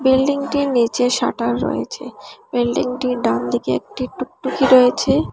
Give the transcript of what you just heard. বিল্ডিংটির নীচে শাটার রয়েছে বিল্ডিংটির ডানদিকে একটি টুকটুকি রয়েছে।